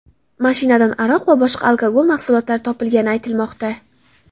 Mashinadan aroq va boshqa alkogol mahsulotlar topilgani aytilmoqda.